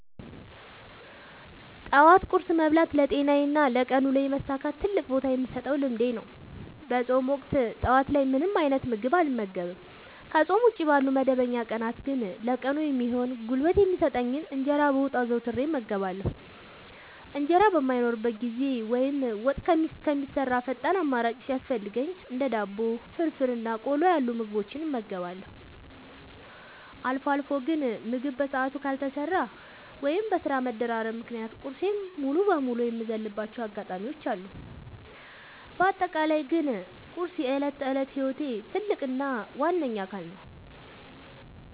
ጠዋት ቁርስ መብላት ለጤናዬና ለቀን ውሎዬ መሳካት ትልቅ ቦታ የምሰጠው ልምዴ ነው። በፆም ወቅት ጠዋት ላይ ምንም አይነት ምግብ አልመገብም። ከፆም ውጪ ባሉ መደበኛ ቀናት ግን ለቀኑ የሚሆን ጉልበት የሚሰጠኝን እንጀራ በወጥ አዘውትሬ እመገባለሁ። እንጀራ በማይኖርበት ጊዜ ወይም ወጥ እስከሚሰራ ፈጣን አማራጭ ሲያስፈልገኝ እንደ ዳቦ፣ ፍርፍር እና ቆሎ ያሉ ምግቦችን እመገባለሁ። አልፎ አልፎ ግን ምግብ በሰዓቱ ካልተሰራ ወይም በስራ መደራረብ ምክንያት ቁርሴን ሙሉ በሙሉ የምዘልባቸው አጋጣሚዎች አሉ። በአጠቃላይ ግን ቁርስ የዕለት ተዕለት ህይወቴ ትልቅ እና ዋነኛ አካል ነው።